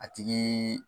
A tigi